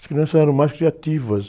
As crianças eram mais criativas.